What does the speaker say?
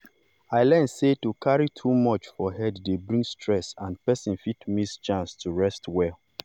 i learn sey to carry too much for head dey bring stress and person fit miss chance to rest well.